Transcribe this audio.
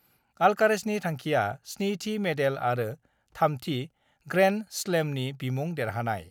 अल्कारेजनि थांखिआ 7थि मेडेल आरो थामथि ग्रेन्डस्लेमनि बिमुं देरहानाय।